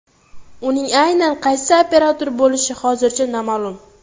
Uning aynan qaysi operator bo‘lishi hozircha noma’lum.